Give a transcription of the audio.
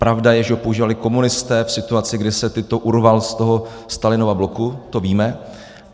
Pravda je, že ho používali komunisté v situaci, kdy se Tito urval z toho Stalinova bloku, to víme.